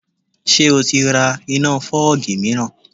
Ṣé o ti ra iná fọ́ọ̀gì míìràn?